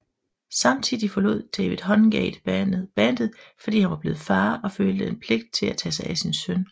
Samtidig forlod David Hungate bandet fordi han var blevet far og følte pligt til at tage sig af sin søn